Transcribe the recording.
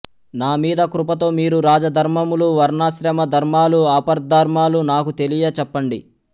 నా మీద కృపతో మీరు రాజధర్మములు వర్ణాశ్రమ ధర్మాలు ఆపద్ధర్మాలు నాకు తెలియ చెప్పండి